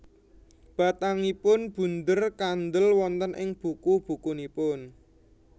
Batangipun bunder kandhel wonten ing buku bukunipun